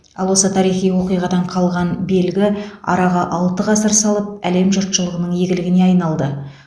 ал осы тарихи оқиғадан қалған белгі араға алты ғасыр салып әлем жұртшылығының игілігіне айналды